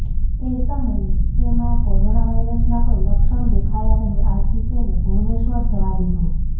એ સમયે તેમાં કોરોના વાયરસના કોઇ લક્ષણ દેખાયા નહીં આથી તેને ભુવનેશ્વર જવા દીધો